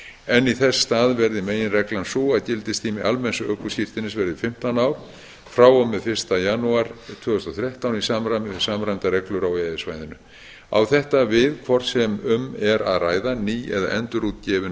en í þess stað verði meginreglan sú að gildistími almenns ökuskírteinis verði fimmtán ár frá og með fyrsta janúar tvö þúsund og þrettán í samræmi við samræmdar reglur á e e s svæðinu á þetta við hvort sem um er að ræða ný eða endurútgefin